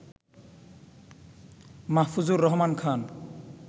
Mahfuzur Rahman Khan